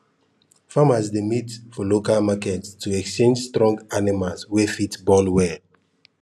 farmers dey meet for local market to exchange strong animals wey fit born well